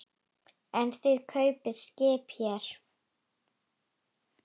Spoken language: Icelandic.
En þið kaupið skip hér.